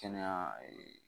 Kɛnɛya